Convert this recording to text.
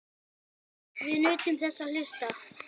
Við nutum þess að hlusta.